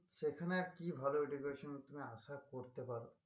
সেখানে আর কিভাবে education এর উপর তুমি আশা করতে পারো